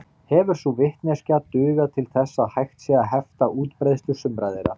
Hefur sú vitneskja dugað til þess að hægt sé að hefta útbreiðslu sumra þeirra.